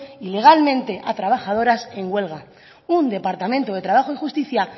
ilegalmente a trabajadoras en huelga un departamento de trabajo y justicia